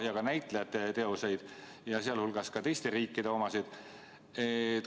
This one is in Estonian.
... ja ka näitlejate teoseid, sh teiste riikide omasid.